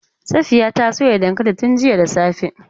Safiya ta soya dankalin tun jiya da safe.